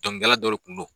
Dɔnkilidala dɔ de kun don